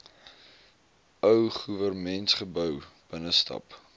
ou goewermentsgebou binnestap